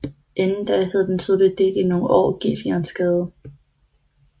Inden da hed den sydlige del i nogle år Gefionsgade